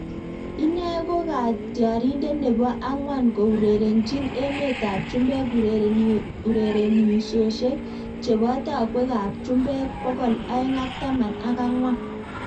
Inee ko katyarindet nebo angwan kourerenchiin emet ab chumbek urerenisiosiek cheboo takwek ab chumbek pokol aenge ak taman ak angwan